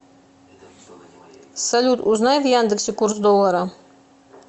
салют узнай в яндексе курс доллара